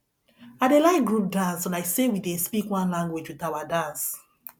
i dey like group dance like sey we dey speak one language wit our dance